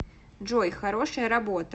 джой хорошая работа